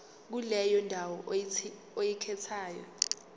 kuleyo ndawo oyikhethayo